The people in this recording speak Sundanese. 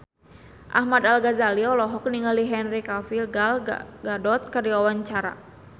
Ahmad Al-Ghazali olohok ningali Henry Cavill Gal Gadot keur diwawancara